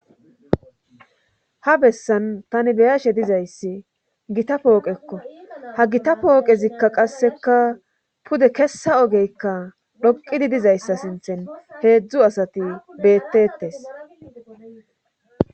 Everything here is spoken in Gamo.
ha bessan tani beyashe dizayssi gita pooqekko ha gita pooqezikka qasseka pude kessa ogeykka dhoqidi dizayssa sinthen heedzdzu asati beettetes